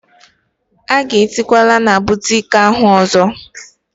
Agazikwala na boutiki ahụ ọzọ!!!